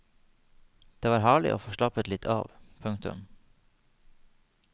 Det var herlig å få slappet litt av. punktum